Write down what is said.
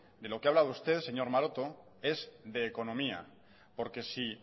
de lo que ha hablado usted señor maroto es de economía porque si